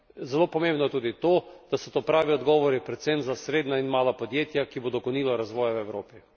Zelo pomembno je tudi to, da so to pravi odgovori predvsem za srednja in mala podjetja, ki bodo gonila razvoj v Evropi.